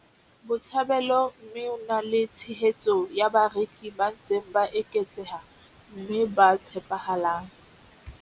Botshabelo mme o na le tshehetso ya bareki ba ntseng ba eketseha mme ba tshepahalang.